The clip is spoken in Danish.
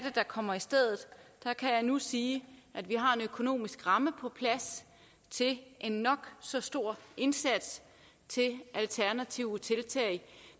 der kommer i stedet kan jeg nu sige at vi har en økonomisk ramme på plads til en nok så stor indsats til alternative tiltag